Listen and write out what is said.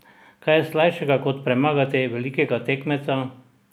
Kaj je slajšega kot premagati velikega tekmeca?